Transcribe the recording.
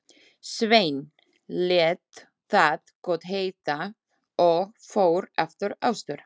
Sveinn lét það gott heita og fór aftur austur.